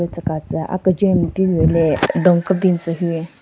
Tsü ka tsü a kejwen npugü le dun kebin tsü hu.